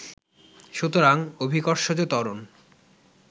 সুতরাং, অভিকর্ষজ ত্বরণ